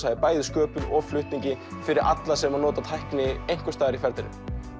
bæði í sköpun og flutningi fyrir alla sem nota tækni einhvers staðar í ferlinu